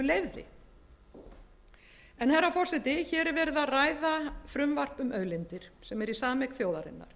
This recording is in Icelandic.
frá iðnaðarráðuneytinu leyfði herra forseti hér er verið að ræða frumvarp um auðlindir sem er í sameign þjóðarinnar